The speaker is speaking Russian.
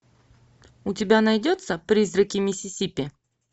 у тебя найдется призраки миссисипи